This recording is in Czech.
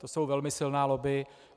To jsou velmi silná lobby.